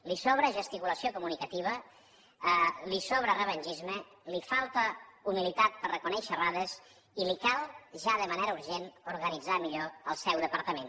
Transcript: li sobra gesticulació comunicativa li sobra revengisme li falta humilitat per reconèixer errades i li cal ja de manera urgent organitzar millor el seu departament